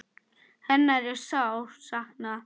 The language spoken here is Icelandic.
Hennar er sárt saknað.